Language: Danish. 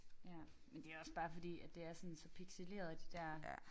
Ja men det også bare fordi at det er sådan så pixeleret de der